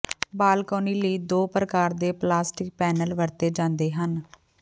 balcony ਲਈ ਦੋ ਪ੍ਰਕਾਰ ਦੇ ਪਲਾਸਟਿਕ ਪੈਨਲ ਵਰਤੇ ਜਾਂਦੇ ਹਨ